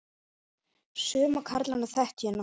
Suma karlana þekkti ég nokkuð.